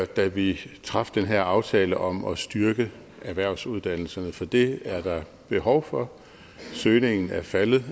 da vi traf den her aftale om at styrke erhvervsuddannelserne for det er der behov for søgningen er faldet